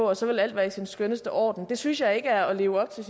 og så vil alt være i sin skønneste orden det synes jeg ikke er at leve op til